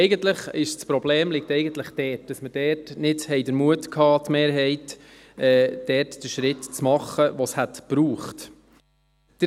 Eigentlich liegt das Problem darin, dass wir, die Mehrheit, damals nicht den Mut hatten, den Schritt zu machen, den es gebraucht hätte.